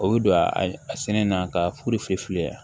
O bɛ don a sɛnɛ na ka furu fiye fiyela